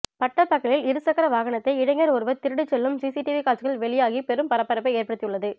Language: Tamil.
பட்டப்பகலில் இரு சக்கர வாகனத்தை இளைஞர் ஒருவர் திருடிச் செல்லும் சிசிடிவி காட்சிகள் வெளியாகி பெரும் பரபரப்பை ஏற்படுத்தி உள்ளது